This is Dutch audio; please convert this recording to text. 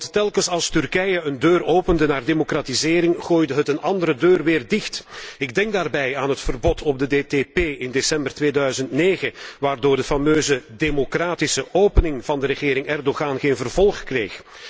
Want telkens als Turkije een deur opende naar democratisering, gooide het een andere deur weer dicht. Ik denk daarbij aan het verbod op de DTP in december 2009, waardoor de fameuze 'democratische opening' van de regering Erdogan geen vervolg kreeg.